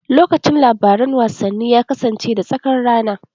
Lokacin labaran wasanni ya kasance da tsakar rana.